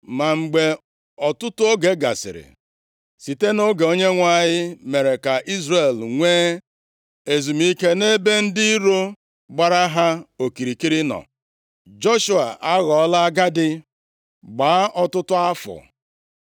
Ma mgbe ọtụtụ oge gasịrị, site nʼoge Onyenwe anyị mere ka Izrel nwee ezumike nʼebe ndị iro gbara ha okirikiri nọ, Joshua aghọọla agadi, gbaa ọtụtụ afọ.